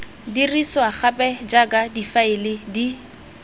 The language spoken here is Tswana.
dirisiwa gape jaaka difaele di